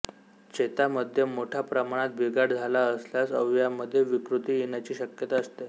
चेता मध्ये मोठ्या प्रमाणात बिघाड झाला असल्यास अवयवामध्ये विकृती येण्याची शक्यता असते